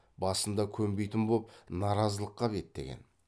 басында көнбейтін боп наразылыққа беттеген